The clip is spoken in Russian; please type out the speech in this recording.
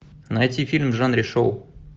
найти фильм в жанре шоу